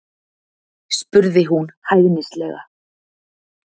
spurði hún hæðnislega.